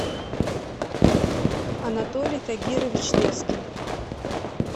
анатолий тагирович лескин